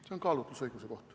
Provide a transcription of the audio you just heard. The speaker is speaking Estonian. See on kaalutlusõiguse koht.